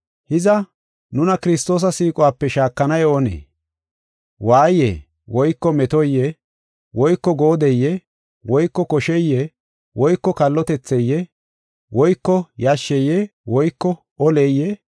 Hiza, nuna Kiristoosa siiquwape shaakanay oonee? Waayeye woyko metoye woyko goodeye woyko kosheye woyko kallotetheye woyko yashsheye woyko oleyee?